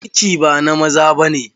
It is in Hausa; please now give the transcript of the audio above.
Ciki ba na maza ba ne.